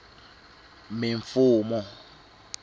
mimfumo